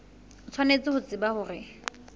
o tshwanetse ho tseba hore